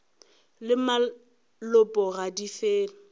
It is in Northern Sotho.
le malopo ga di fele